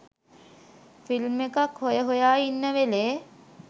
film එකක් හොය හොය ඉන්න වෙලේ